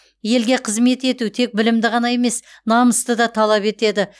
елге қызмет ету тек білімді ғана емес намысты да талап етеді